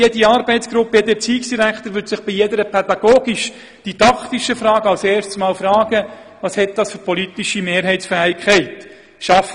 Jeder Erziehungsdirektor und jede Arbeitsgruppe würde sich bei jeder pädagogischdidaktischen Frage zunächst einmal fragen, welche politische Mehrheitsfähigkeit diese hätte;